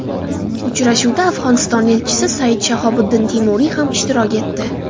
Uchrashuvda Afg‘oniston elchisi Sayid Shahobiddin Temuriy ham ishtirok etdi.